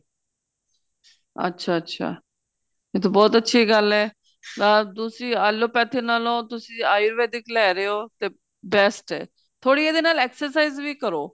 ਅੱਛਾ ਅੱਛਾ ਇਹ ਤਾਂ ਬਹੁਤ ਅੱਛੀ ਗੱਲ ਏ ਤੇ ਤੁਸੀਂ allopathy ਨਾਲੋ ਤੁਸੀਂ ayurvedic ਲੈ ਰਹੇ ਓ ਤੇ best ਏ ਥੋੜੀ ਉਹਦੇ ਨਾਲ exercise ਵੀ ਕਰੋ